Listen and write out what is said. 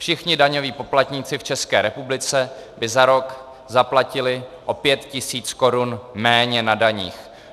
Všichni daňoví poplatníci v České republice by za rok zaplatili o 5 tisíc korun méně na daních.